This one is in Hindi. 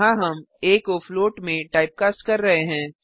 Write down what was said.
यहाँ हम आ को फ्लोट में टाइपकास्ट कर रहे हैं